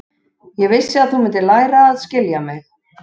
Ég vissi að þú mundir læra að skilja mig.